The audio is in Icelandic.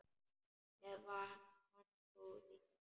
Með vantrú þína.